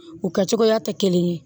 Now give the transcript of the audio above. U kɛ cogoya tɛ kelen ye